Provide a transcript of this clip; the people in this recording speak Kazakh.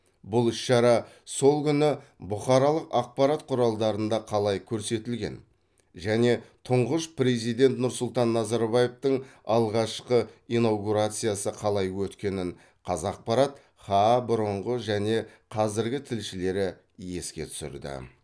бұл іс шара сол күні бұқаралық ақпарат құралдарында қалай көрсетілген және тұңғыш президент нұрсұлтан назарбаевтың алғашқы инаугурациясы қалай өткенін қазақпарат хаа бұрынғы және қазіргі тілшілері еске түсірді